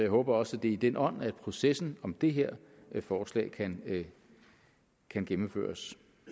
håber også det er i den ånd processen om det her forslag kan kan gennemføres